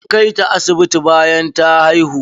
An kai ta asibiti bayan ta haihu.